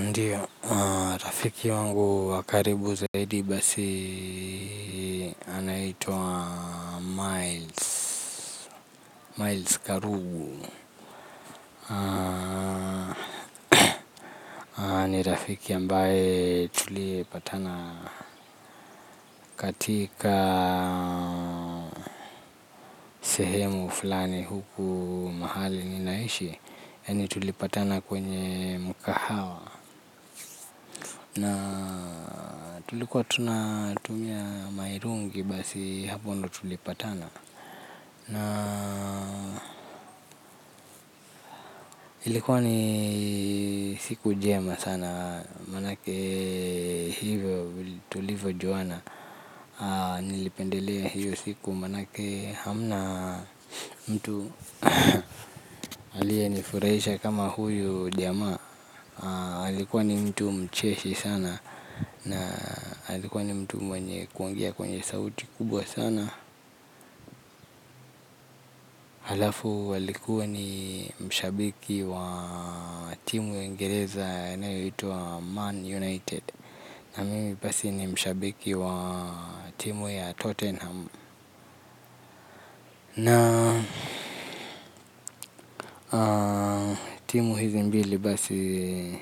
Ndiyo, rafiki wangu wa karibu zaidi basi anaitwa Myles Myles Karugu. Ni rafiki ambaye tulipatana katika sehemu fulani huku mahali ni naishi yaani tulipatana kwenye mkahawa. Na tulikuwa tunatumia mahirungi basi hapo ndo tulipatana na ilikuwa ni siku njema sana. Manake hivyo tulivo juana nilipendelea hiyo siku manake hamna mtu aliyenifurahisha kama huyu jamaa alikuwa ni mtu mcheshi sana. Na alikuwa ni mtu mwenye kuongea kwenye sauti kubwa sana. Halafu walikuwa ni mshabiki wa timu ya uingereza inayoitwa Man United. Na mimi basi ni mshabiki wa timu ya Tottenham na timu hizi mbili basi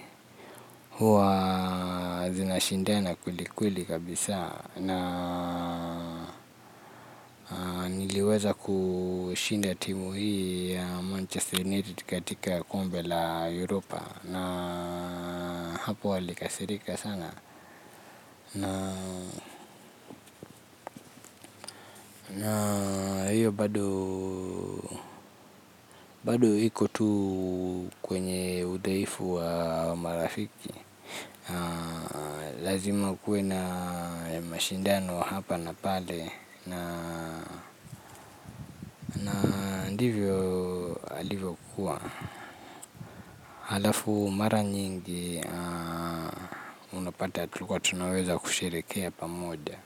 huwa zinashindana kwelikweli kabisa. Na niliweza kushinda timu hii ya Manchester United katika kombe la Europa. Na hapo walikasirika sana. Na hiyo bado iko tu kwenye udhaifu wa marafiki. Lazima kuwe na mashindano hapa na pale. Na ndivyo alivyo kuwa halafu mara nyingi unapata hatukuwa tunaweza kushirikia pamoja.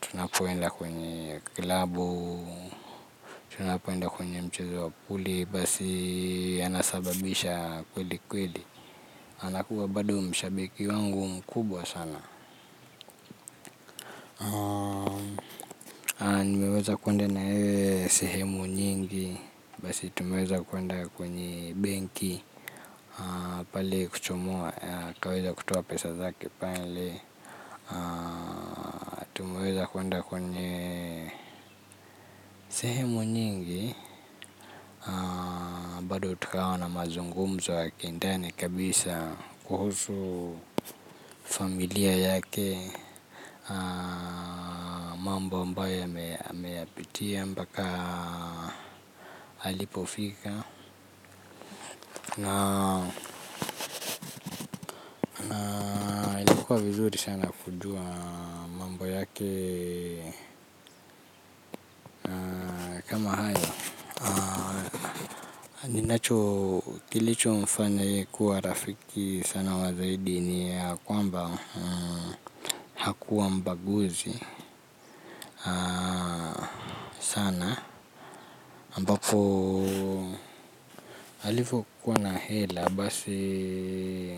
Tunapoenda kwenye club. Tunapoenda kwenye mchezo wa puli. Basi anasababisha kweli kweli. Anakuwa bado mshabiki wangu mkubwa sana. Nimeweza kuende na yeye sehemu nyingi. Basi tumeweza kuende kwenye benki pale kuchomoa, twaweza kutoa pesa zake pale tumeweza kuende kwenye sehemu nyingi. Bado tukawa na mazungumzo ya kindani kabisa kuhusu familia yake. Mambo mbayo ameyapitia mbaka alipofika. Na ilikuwa vizuri sana kujua mambo yake kama haya. Ninacho kilicho mfanya yeye kuwa rafiki sana wazaidi ni yakwamba hakuwa mbaguzi sana ambapo alivyokuwa na hela basi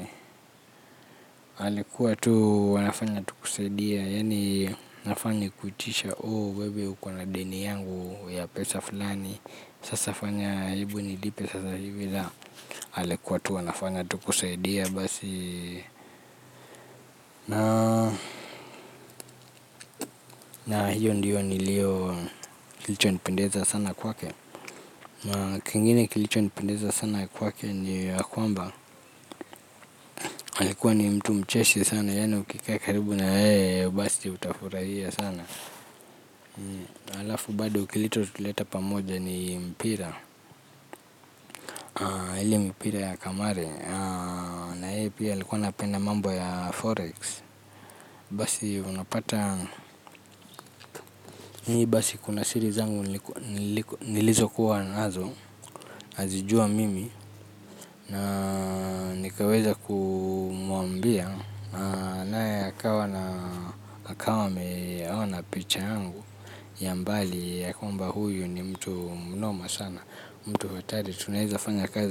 alikuwa tu anafanya tu kusaidia, yaani. Hafanyi kuitisha wewe uko na deni yangu ya pesa fulani. Sasa fanya hebu nilipe sasa hivi la alikuwa tu anafanya tukusaidia basi na na hiyo ndiyo niliyo kilicho nipendeza sana kwake na kingine kilicho nipendeza sana kwake ni yakwamba, alikuwa ni mtu mcheshi sana yani ukikaa karibu na yeye basi utafurahia sana. Alafu bado kilicho tuleta pamoja ni mpira ile mpira ya kamari na yeye pia alikuwa napenda mambo ya forex basi unapata ni basi kuna siri zangu nilizo kuwa nazo nazijua mimi na nikaweza kumwambia naye akawa ameyaona picha yangu ya mbali ya kwamba huyu ni mtu mnoma sana mtu fatari tunaweza fanya kazi.